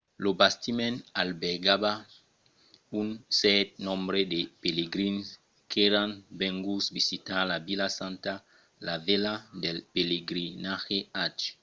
lo bastiment albergava un cèrt nombre de pelegrins qu'èran venguts visitar la vila santa la velha del pelegrinatge hajj